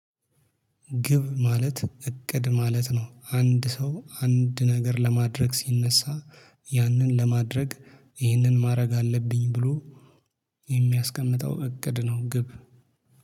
ግብ ማለት እቅድ ማለት ነው አንድ ሰው አንድ ነገር ለማድረግ ሲነሳ ያንን ለማድረግ ይህንን ማድረግ አለብኝ ብሎ የሚያስቀምጠው እቅድ ነው። ግብ